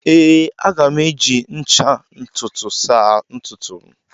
Ee, a ga m eji ncha ntutu saa ntutu m.